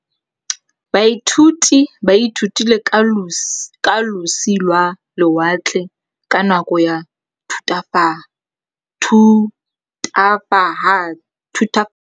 Baithuti ba ithutile ka losi lwa lewatle ka nako ya Thutafatshe.